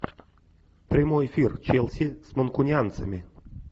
прямой эфир челси с манкунианцами